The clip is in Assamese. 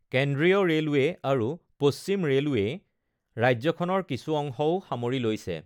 কেন্দ্ৰীয় ৰে’লৱে আৰু পশ্চিম ৰে’লৱেই ৰাজ্যখনৰ কিছু অংশও সামৰি লৈছে।